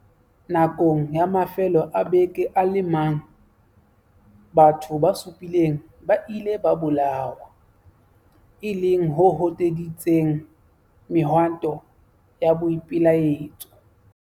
Nakong ya mafelo a beke a le mang, batho ba supileng ba ile ba bolawa, e leng ho hoteditseng mehwanto ya boipelaetso.